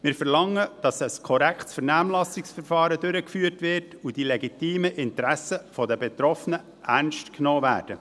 Wir verlangen, dass ein korrektes Vernehmlassungsverfahren durchgeführt wird und die legitimen Interessen der Betroffenen ernst genommen werden.